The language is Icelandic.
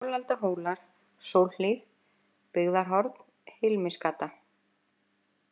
Folaldahólar, Sólhlíð, Byggðarhorn, Hilmisgata